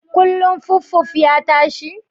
Kullun fuffuf ya tashi?